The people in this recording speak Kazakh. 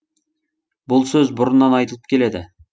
бұл сөз бұрыннан айтылып келеді